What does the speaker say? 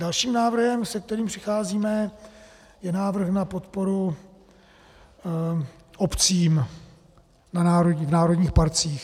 Dalším návrhem, se kterým přicházíme, je návrh na podporu obcím v národních parcích.